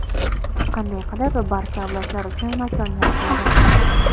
Qanday qilib barcha avlodlar uchun makon yaratiladi?